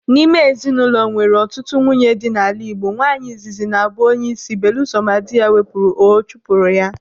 N'ime ezinụlọ nwere ọtụtụ nwunye dị n'ala Igbo, nwaanyị izizi na-abụ onyeisi belusọ ma dị ya wepụrụ ọ chụpụrụ ya.